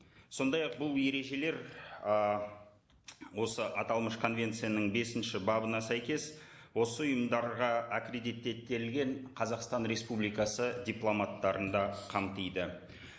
сондай ақ бұл ережелер ы осы аталмыш конвенцияның бесінші бабына сәйкес осы ұйымдарға қазақстан республикасы дипломаттарын да қамтиды